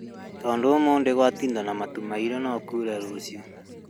Tondũ ũmũthĩ gwatinda na matũ mairũ no kure rũciũ